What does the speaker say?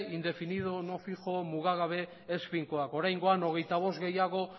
indefinido no fijo mugagabe ez finkoak oraingoan hogeita bost gehiago